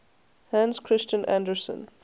hans christian andersen